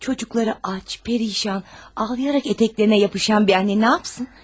Uşaqları ac, pərişan, ağlayaraq ətəklərinə yapışan bir ana nə etsin?